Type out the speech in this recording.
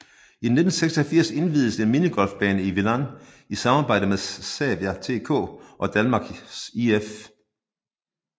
I 1986 inviededes en minigolfbane i Vilan i samarbejde med Sävja TK og Danmarks IF